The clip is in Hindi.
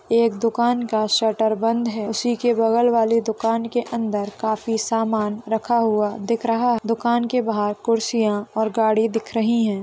एक दुकान का शटर बंद है उसी के बगल वाली दुकान के अंदर काफी समान रखा हुआ दिख रहा है दुकान के बाहर कुर्सियाँ और गाड़ी दिख रही है।